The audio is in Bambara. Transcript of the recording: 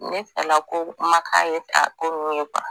Ne fɛlako ma k'a ye k'a ko ninnu ye